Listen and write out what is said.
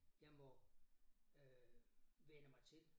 Jeg må øh vænne mig til